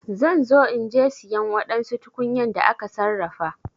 Zan zo inje siyan wadansu tukunyan da aka sarrafa.